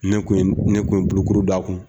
Ne kun ne kun bolokuru d'a kun.